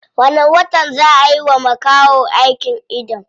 Wani watan zaa a yiwa makahon aikin ido.